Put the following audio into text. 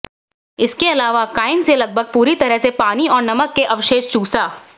इसके अलावा काइम से लगभग पूरी तरह से पानी और नमक के अवशेष चूसा